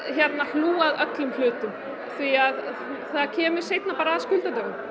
hlúa að öllum hlutum því að það kemur seinna bara að skuldadögum